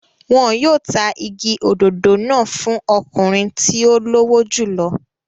Wọn yóò ta igi òdòdó náà fún ọkùnrin tí ó lówó jù lọ.